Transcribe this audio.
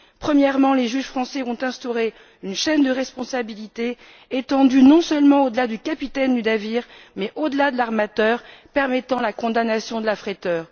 Premièrement, les juges français ont instauré une chaîne de responsabilité, étendue non seulement au delà du capitaine du navire mais au delà de l'armateur, permettant la condamnation de l'affréteur.